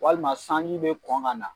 Walima sanji bɛ kɔn ka na.